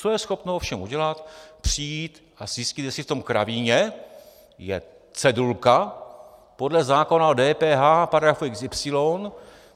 Co je schopno ovšem udělat, přijít a zjistit, jestli v tom kravíně je cedulka podle zákona o DPH paragraf xy.